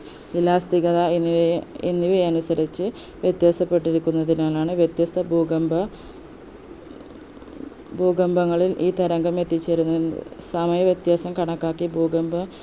elastic കത എന്നിവയെ എന്നിവയെ അനുസരിച്ച് വ്യത്യസ്തപ്പെട്ടിരിക്കുന്നതിനാലാണ് വ്യത്യസ്ത ഭൂകമ്പ ഭൂകമ്പങ്ങളിൽ ഈ തരംഗം എത്തിച്ചേരുന്ന സമയ വ്യത്യാസം കണക്കാക്കി ഭൂകമ്പ